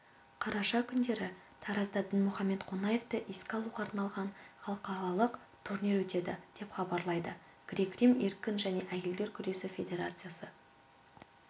қараша күндері таразда дінмұхамед қонаевты еске алуға арналған халықаралық турнир өтеді деп хабарлайды грек-рим еркін және әйелдер күресі федерациясы